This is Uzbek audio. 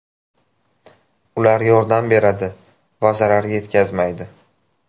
Ular yordam beradi va zarar yetkazmaydi.